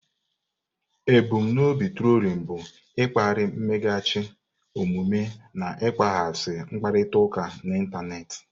Ebum n'obi trolin bụ ịkpali mmeghachi omume na ịkpaghasị mkparịta ụka n'ịntanetị.